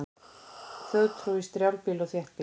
Þjóðtrú í strjálbýli og þéttbýli